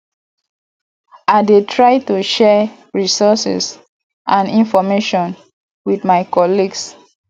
i dey try to share resources and information with my colleagues